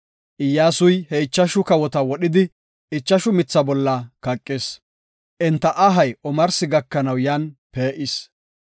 Iyyasuy he ichashu kawota wodhidi, ichashu mitha bolla kaqis; enta ahay omarsi gakanaw yan pee7is.